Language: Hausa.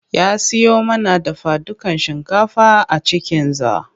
Ya siyo mana dafadukan shinkafa a cikinza.